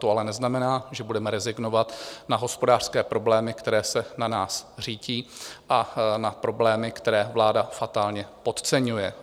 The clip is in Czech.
To ale neznamená, že budeme rezignovat na hospodářské problémy, které se na nás řítí, a na problémy, které vláda fatálně podceňuje.